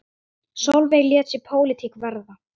Sólveig lét sig pólitík varða.